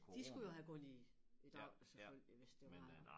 De skulle jo have gået i i dag selvfølgelig hvis det var